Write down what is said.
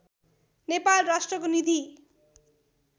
नेपाल राष्ट्रको निधि